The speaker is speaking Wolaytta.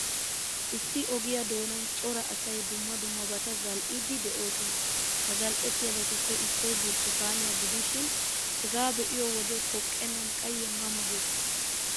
Issi ogiyaa doonan cora asay dumma dummabata zal''iddi de'oosona. Ha zal''ettiyaabatuppe issoy burttukaaniyaa gidishin, hegaa be'iyoo wode poqqennan qayye ma ma gees.